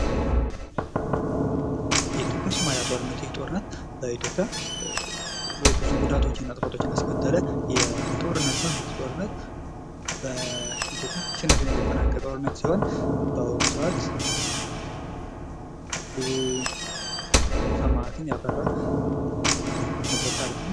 የኢትዮጵያ ሶማሊያ ጦርነት ይህ ጦርነት በኢትዮጵያ ብዙ ጉዳቶችን እና ጥፋቶችን ይስከተለ የጦርነት ነው። ይህ ጦርነት በኢትዮጵያ አሸናፊነት የተጠናቀቀ ጦርነት ሲሆን በአሁነ ሰዓት ብዙ ሰማእትን ያፈራንበት በታሪክ ነው።